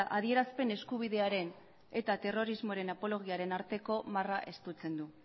adierazpen eskubidearen eta terrorismoaren apologiaren arteko marra estutzen du